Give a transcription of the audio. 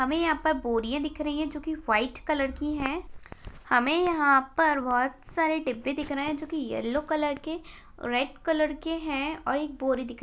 हमे यहाँ पर बोरिया दिख रही हैं जो की वाइट कलर की हैं हमे यहाँ पर बहुत सारे डिब्बे दिख रहे हैं जो की येल्लो कलर के रेड कलर के हैं और एक बोरी दिख--